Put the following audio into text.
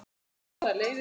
Báðar leiðir.